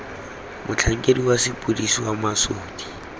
motlhankedi wa sepodisi wa mosadi